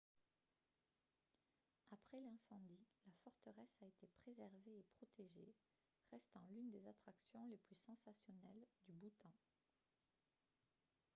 après l'incendie la forteresse a été préservée et protégée restant l'une des attractions les plus sensationnelles du bhoutan